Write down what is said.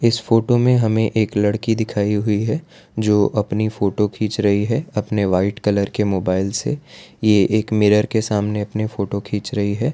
इस फोटो में हमें एक लड़की दिखाई हुई है जो अपनी फोटो खींच रही है अपने व्हाइट कलर के मोबाइल से ये एक मिरर के सामने अपने फोटो खींच रही है।